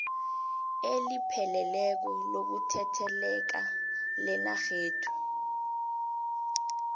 elipheleleko lokutheleleka lenarhethu